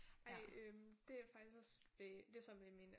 Ej øh det jeg faktisk også det så med min øh